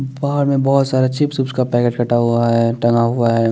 बाहर में बोहोत सारा चिप्स हिप्स का पैकेट कटा हुआ है टंगा हुआ है ।